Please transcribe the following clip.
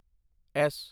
S